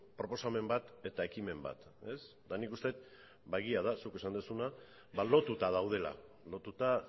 proposamen bat eta ekimen bat eta nik uste dut ba egia da zuk esan duzuna lotuta daudela lotuta